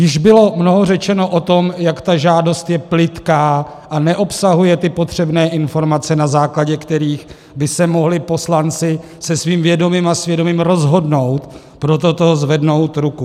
Již bylo mnoho řečeno o tom, jak ta žádost je plytká a neobsahuje ty potřebné informace, na základě kterých by se mohli poslanci se svým vědomím a svědomím rozhodnout pro toto zvednout ruku.